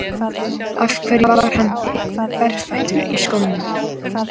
Af hverju var hann berfættur í skónum?